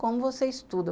Como você estuda?